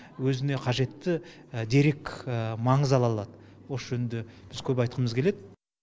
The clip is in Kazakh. өзіне қажетті дерек маңыз ала алады осы жөнінде біз көп айтқымыз келеді